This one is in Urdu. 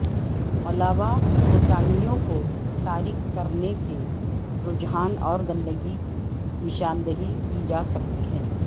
علاوہ کوتاہیوں کو تاریک کرنے کے رجحان اور گندگی کی نشاندہی کی جا سکتی ہے